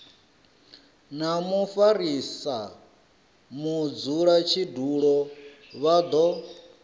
na mufarisa mudzulatshidulo vha do